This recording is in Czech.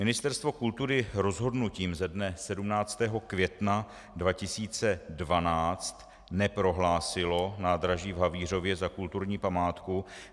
Ministerstvo kultury rozhodnutím ze dne 17. května 2012 neprohlásilo nádraží v Havířově za kulturní památku.